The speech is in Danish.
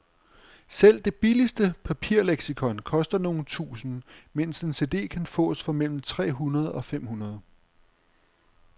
Selv det billigste papirleksikon koster nogle tusinde, mens en cd kan fås for mellem tre hundrede og fem hundrede.